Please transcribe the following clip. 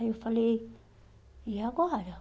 Aí eu falei, e agora?